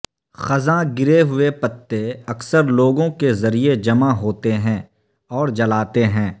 خزاں گرے ہوئے پتے اکثر لوگوں کے ذریعہ جمع ہوتے ہیں اور جلاتے ہیں